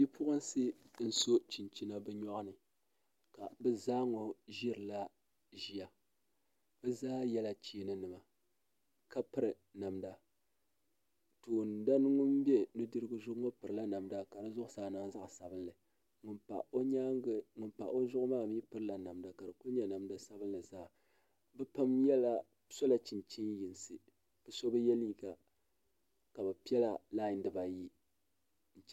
Bipuɣunsi n so chinchina bi nyoɣani ka bi zaa ŋɔ ʒirila ʒiya bi zaa yɛla cheeni nima ka piri namda toon dani ŋun bɛ nudirigu zuɣu ŋɔ pirila namda ka di zuɣusaa niŋ zaɣ sabinli ŋun pa o zuɣu maa mii pirila namda ka di ku nyɛ namdi sabinli zaa bi pam sola chinchin yinsi so bi yɛ liiga ka bi piɛla lai dibayi